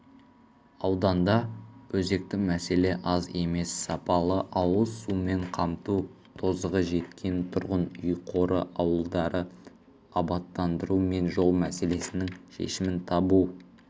ауданда өзекті мәселе аз емес сапалы ауыз сумен қамту тозығы жеткен тұрғын үй қоры ауылдарды абаттандыру мен жол мәселесінің шешімін табу